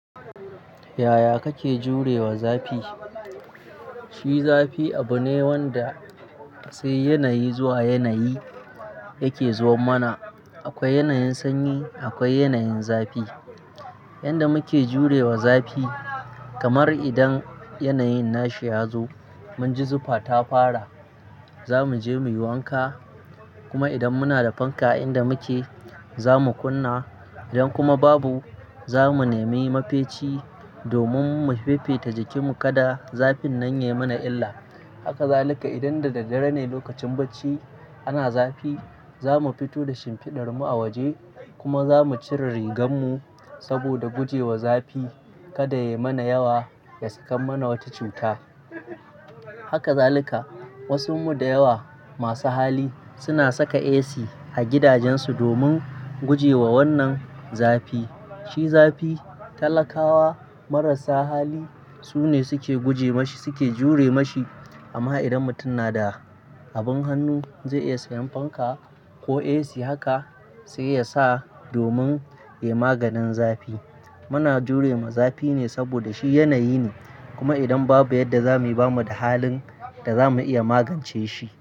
Yaya kake jure wa zafi? Shi zafi abu ne wanda sai yanayi zuwa yanayi yake zuwan mana. Akwai yanayin sanyi, akwai yanayin zafi. Yanda muke jure wa zafi, kamar idan yanayin nashi ya zo, mun ji zufa ta fara, za mu je muyi wanka. Kuma idan muna da fanka a inda muke, za mu kunna. Idan kuma babu, za mu nemi mafeci domin mu fifita jikinmu kada zafin nan ya yi mana illa. Haka zalika idan da daddare ne lokacin bacci ana zafi, za mu fito da shimfidar mu a waje kuma za mu cire rigar mu saboda guje wa zafi kada ya yi mana yawa ya saka mana wata cuta. Haka zalika wasu mu da yawa masu hali suna saka AC a gidajen su domin guje wa wannan zafi. Shi zafi talakawa marasa hali su ne suke guje mashi, suke jure mashi. Amma idan mutum na da abin hannu zai iya sayan fanka ko AC, haka sai yasa domin ya yi maganin zafi. Muna jure wa zafi ne saboda shi yanayi ne. Kuma idan babu yadda za mayi ba mu da halin da za mu iya magance shi.